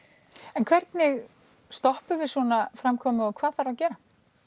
en hvernig stoppum við svona framkomu og hvað þarf að gera